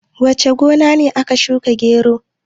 wace gona ce aka shuka gero?